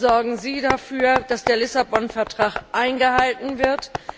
Sorgen Sie dafür, dass der Lissabon Vertrag eingehalten wird!